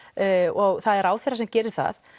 og það er ráðherra sem gerir það